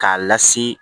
K'a lasi